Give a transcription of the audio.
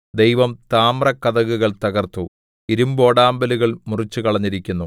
ദൈവം താമ്രകതകുകൾ തകർത്തു ഇരിമ്പോടാമ്പലുകൾ മുറിച്ചുകളഞ്ഞിരിക്കുന്നു